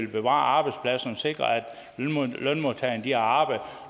bevare arbejdspladserne og sikre at lønmodtagerne har arbejde